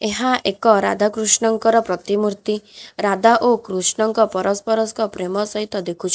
ଏହା ଏକ ରାଧା କୃଷ୍ଣଙ୍କର ପ୍ରତିମୂର୍ତ୍ତି ରାଧା ଓ କୃଷ୍ଣଙ୍କ ପରସ୍ପର ସ ପ୍ରେମ ସହିତ ଦେଖୁଚ --